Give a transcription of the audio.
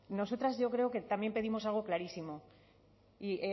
nosotras yo creo que también pedimos algo clarísimo y